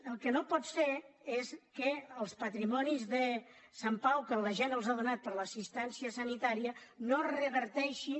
el que no pot ser és que els patrimonis de sant pau que la gent els ha donat per a l’assistència sanitària no reverteixin